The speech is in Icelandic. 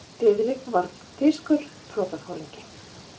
Diðrik var þýskur flotaforingi.